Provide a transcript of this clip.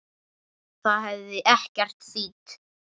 Það hefði ekkert þýtt.